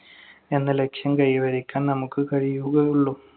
എന്ന ലക്ഷ്യം കൈവരിക്കാൻ നമുക്ക് കഴിയുകയുള്ളു.